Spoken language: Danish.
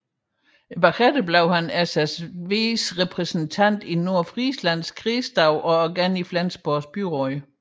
Senere blev han SSWs represntant i Nordfrislands kredsdag og igen i Flensborgs byråd